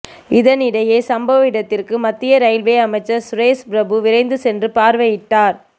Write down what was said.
இதனிடையே சம்பவ இடத்திற்கு மத்திய ரயில்வே அமைச்சர் சுரேஷ் பிரபு விரைந்து சென்று பார்வையிட்டார்